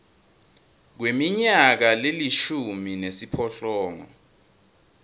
kweminyaka lelishumi nesiphohlongo